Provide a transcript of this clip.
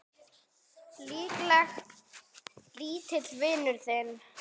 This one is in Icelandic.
Líklega lítill vinur þinn!